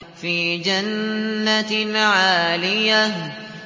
فِي جَنَّةٍ عَالِيَةٍ